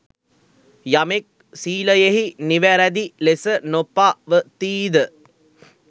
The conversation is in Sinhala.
යමෙක් සීලයෙහි නිවැරැදි ලෙස නොපවතීද